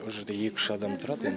о жерде екі үш адам тұрады енді